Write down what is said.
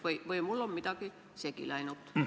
Või on mul midagi segi läinud?